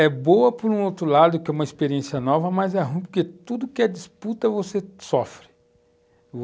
É boa por um outro lado, que é uma experiência nova, mas é ruim porque tudo que é disputa você sofre.